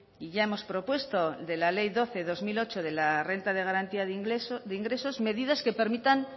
y ya hemos propuesto de la ley doce barra dos mil ocho de la renta de garantía de ingresos medidas que permitan